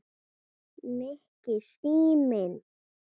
Nikki, síminn